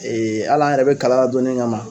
hal'an yɛrɛ bɛ kalanna donnin kama